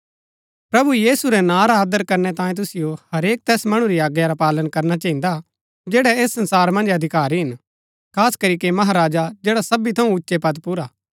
प्रभु यीशु रै नां रा आदर करनै तांये तुसिओ हरेक तैस मणु री आज्ञा रा पालन करना चहिन्दा जैड़ै ऐस संसार मन्ज अधिकारी हिन खास करीके महाराजा जैड़ा सबी थऊँ उच्चै पद पुर हा